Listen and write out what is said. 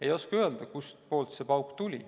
Ei oska öelda, kustpoolt see pauk tuli.